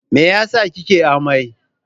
me yasa kike amai?